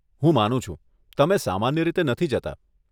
હું માનું છું, તમે સામાન્ય રીતે નથી જતાં.